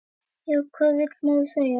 Já, hvað vill maður segja?